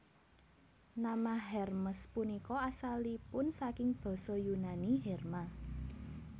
Nama Hermes punika asalipun saking Basa Yunani herma